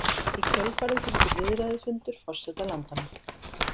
Í kjölfarið fylgir viðræðufundur forseta landanna